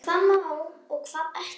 Hvað má og hvað ekki.